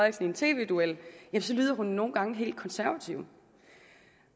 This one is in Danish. i en tv duel så lyder han nogle gange helt konservativ